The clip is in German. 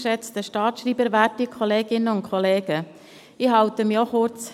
Ich fasse mich ebenfalls kurz.